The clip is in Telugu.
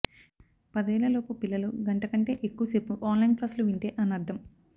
పదేళ్లలోపు పిల్లలు గంట కంటే ఎక్కువ సేపు ఆన్లైన్ క్లాసులు వింటే అనర్ధం